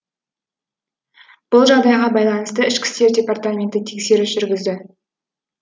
бұл жағдайға байланысты ішкі істер департаменті тексеріс жүргізді